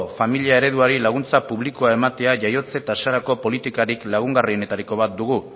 familia ereduari laguntza publikoa ematea jaiotze tasarako politikarik lagungarrienetariko bat dugu